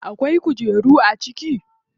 Akwai kujeru a ciki?